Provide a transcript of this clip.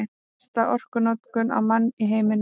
Mesta orkunotkun á mann í heiminum